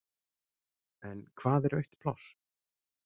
En hvað er autt pláss?